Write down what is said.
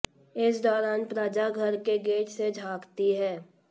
इस दौरान प्रज्ञा घर के गेट से झांकती है